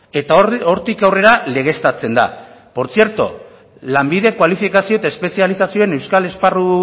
eta hortik aurrera legeztatzen da por cierto lanbide kualifikazio eta espezializazioen euskal esparru